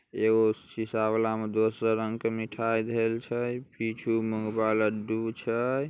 एगो शीशा वाला दूसर रंग का मिठाई धइल छै पीछू लड्डू छै।